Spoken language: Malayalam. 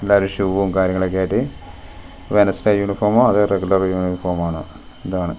എല്ലാരും ഷൂവും കാര്യങ്ങളൊക്കെയായിട്ട് വെനസ്ഡേ യൂണിഫോമോ അതോ റെഗുലർ യൂനിഫോമാണോ എന്തോ ആണ് .